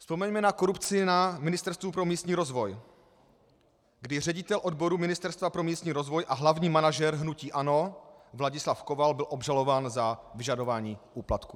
Vzpomeňme na korupci na Ministerstvu pro místní rozvoj, kdy ředitel odboru Ministerstva pro místní rozvoj a hlavní manažer hnutí ANO Vladislav Koval byl obžalován za vyžadování úplatku.